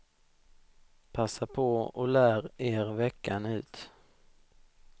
Passa på och lär er veckan ut!